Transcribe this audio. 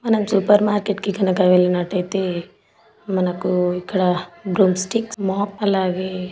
మనము సూపర్ మార్కెట్కు గనక వెళ్లినట్లయితే మనకు ఇక్కడ బ్రూమ్ స్టిక్స్ మ్యాప్ అలాగే--